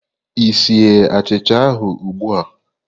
Ị sie achicha ahụ ugbu a?